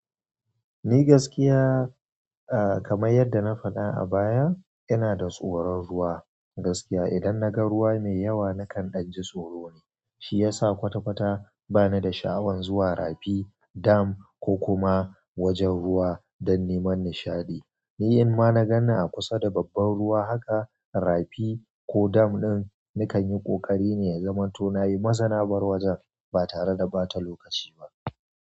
Ni gaskiya, ah, kamar yadda na faɗa a baya, ina da tsoron ruwa. Gaskiya idan naga ruwa mai yawa nakan danji tsoro ne, shi yasa kwata-kwata bana da sha'awan zuwa rafi, dam ko kuma wajajen ruwa don neman nishaɗi. Ni in ma na ganni a kusa da babban ruwa haka, rafi ko dam ɗin, nakan yi ƙoƙari ne ya zamanto nayi maza nabar wajen ba tare da ɓata lokaci ba.